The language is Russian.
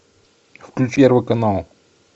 включи первый канал